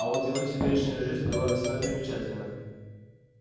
а вот его теперешняя жизнь была весьма примечательна